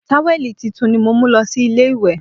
Táwẹ̀lì tuntun ni mo mú lọ sí ilé ìwẹ̀